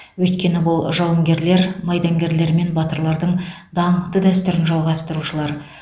өйткені бұл жауынгерлер майдангерлер мен батырлардың даңқты дәстүрін жалғастырушылар